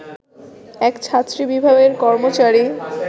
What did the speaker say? এক ছাত্রী বিভাগের কর্মচারী